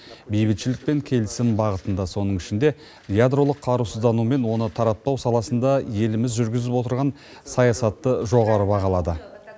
бейбітшілік пен келісім бағытында соның ішінде ядролық қарусыздану мен оны таратпау саласында еліміз жүргізіп отырған саясатты жоғары бағалады